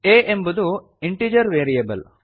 a ಎಂಬುದು integer variable